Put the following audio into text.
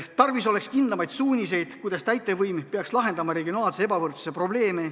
Tarvis oleks kindlamaid suuniseid, kuidas täitevvõim peaks lahendama regionaalse ebavõrdsuse probleemi.